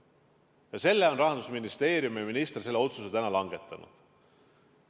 Selle otsuse on Rahandusministeeriumi minister langetanud.